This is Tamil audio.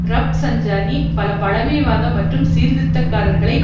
ரப்சஞ்சானி பல பழமைவாத மற்றும் சீர்திருத்தக்காரர்களை